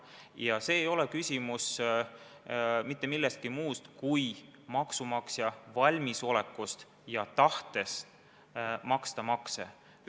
Ja siin ei ole küsimus mitte millestki muust kui maksumaksja valmisolekust ja tahtest maksta makse.